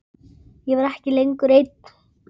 Ég var ekki lengur ein.